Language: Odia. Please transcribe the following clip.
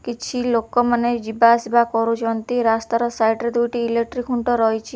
କିଛି ଲୋକମାନେ ଯିବା ଆସିବା କରୁଚନ୍ତି ରାସ୍ତାର ସାଇଟ୍ ରେ ଦୁଇଟି ଇଲେକ୍ଟ୍ରି ଖୁଣ୍ଟ ରହିଚି।